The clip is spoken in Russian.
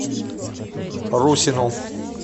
русину